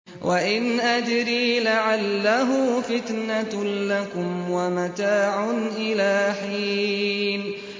وَإِنْ أَدْرِي لَعَلَّهُ فِتْنَةٌ لَّكُمْ وَمَتَاعٌ إِلَىٰ حِينٍ